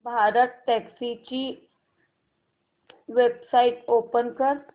भारतटॅक्सी ची website open कर